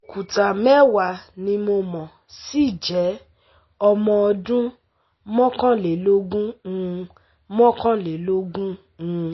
Òkúta mẹ́wàá ni mí mo sì jẹ́ ọmọ ọdún mọ́kànlélógún um mọ́kànlélógún um